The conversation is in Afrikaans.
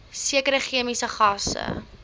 sekere chemiese gasse